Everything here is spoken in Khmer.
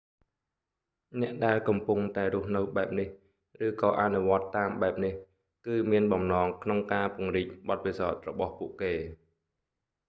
អ្នកដែលកំពុងតែរស់នៅបែបនេះ ឬក៏អនុវត្តន៍តាមបែបនេះគឺមានបំណងក្នុងការពង្រីកបទពិសោធន៍របស់ពួកគេ